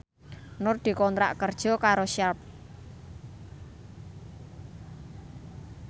Nur dikontrak kerja karo Sharp